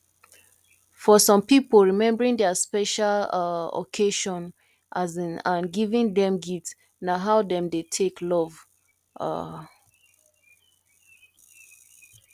for some pipo remembering their special um occasion um and giving dem gifts na how dem dey take love um